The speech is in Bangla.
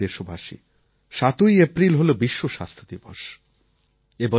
আমার প্রিয় দেশবাসী ৭ই এপ্রিল হল বিশ্ব স্বাস্থ্য দিবস